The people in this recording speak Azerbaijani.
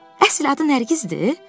Əsl adı Nərgizdir?